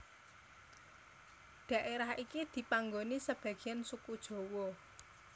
Daerah iki dipanggoni sebagiyan suku Jawa